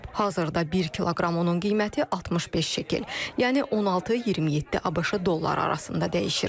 Hazırda bir kiloqram unun qiyməti 65 şekel, yəni 16-27 ABŞ dolları arasında dəyişir.